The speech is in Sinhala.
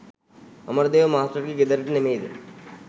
අමරදේව මාස්ටර්ගේ ගෙදරට නෙමෙයිද?